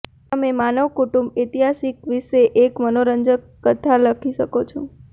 તમે માનવ કુટુંબ ઇતિહાસ વિશે એક મનોરંજક નવલકથા લખી શકો છો